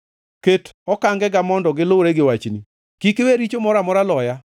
Ket okangega mondo gilure gi wachni; kik iwe richo moro amora loya.